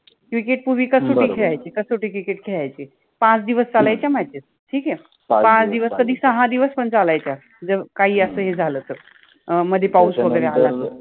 cricket पुर्वि कसोटि खेळायचे कसोटि cricket खेळायचे, पाच दिवस चालायच्या matches ठीक आहे, पाच दिवस कधि सहा दिवस पन चालायच्या अअ काहि अस हे झाल तर अ मधे पाउस वगेरे आला तर